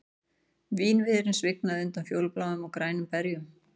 Vínviðurinn svignaði undan fjólubláum og grænum berjum